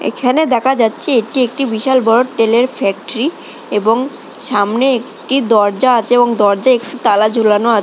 এখানে দেখা যাচ্ছে এটি একটি বিশাল বড়ো তেলের ফ্যাক্টরি এবং সামনে একটি দরজা আছে এবং দরজা একটু তালা ঝুলানো আ--